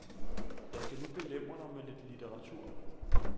Jeg skal nu belemre dig med lidt litteratur.